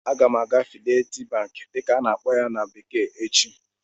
Aga m aga "Fidelity bank" dịka a-na akpọ ya na bekee echi